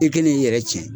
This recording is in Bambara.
I k'i n'i yɛrɛ ci